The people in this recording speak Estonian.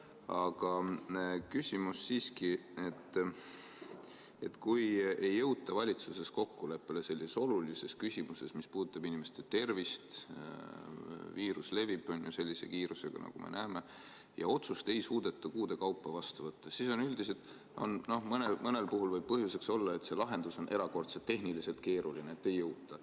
Aga küsimus on siiski, et kui ei jõuta valitsuses kokkuleppele sellises olulises küsimuses, mis puudutab inimeste tervist, viirus levib sellise kiirusega, nagu me näeme, ja otsust ei suudeta kuude kaupa vastu võtta, siis mõnel puhul võib põhjuseks olla, et see lahendus on tehniliselt erakordselt keeruline, et ei jõuta.